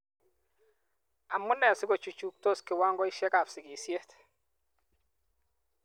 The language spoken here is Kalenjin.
Amu ne sikochuchuktos kiwangoisiekab sikisiet.